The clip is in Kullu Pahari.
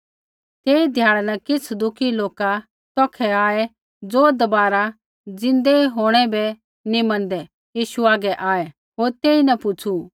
तेही ध्याड़ै न किछ़ सदूकी लोका तौखै आऐ ज़ो दबारा ज़िन्दै होंणै बै नी मैनदै यीशु हागै आऐ होर तेईन पुछ़ू